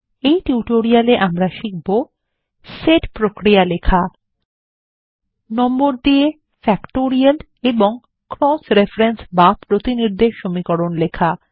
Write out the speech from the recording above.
এই টিউটোরিয়াল এ আমরা শিখব সেট প্রক্রিয়া লেখা নম্বর দিয়ে ফ্যাক্টোরিয়াল এবং ক্রস রেফারেন্স বা প্রতিনির্দেশ সমীকরণ লেখা